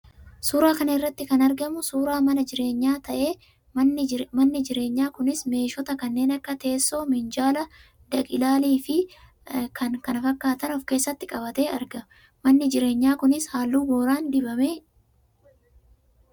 Suuraa kana irratti kan argamuu suuraa mana jireenyaa ta'ee, manni jireenyaa kunis meeshota kanneen akka: teessoo, minjaala, dhag-ilaalii fi kan kana fakkaatan of keessatti qabatee argama. Manni jireenyaa kunis halluu booraan dibameera.